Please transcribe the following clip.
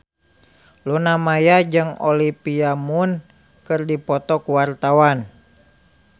Luna Maya jeung Olivia Munn keur dipoto ku wartawan